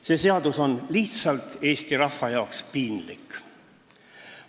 See seadus paneb Eesti rahva ees lihtsalt piinlikkust tundma.